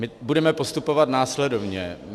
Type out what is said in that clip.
My budeme postupovat následovně.